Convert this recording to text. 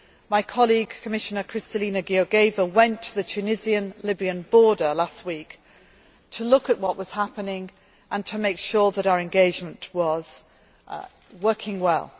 30 million my colleague, Commissioner Kristalina Georgieva, went to the Tunisian Libyan border last week to look at what was happening and to make sure that our engagement was